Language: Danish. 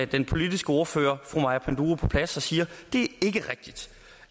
den politiske ordfører fru maja panduro på plads og siger